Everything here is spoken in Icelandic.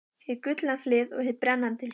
Hið gullna hlið og hið brennandi hlið.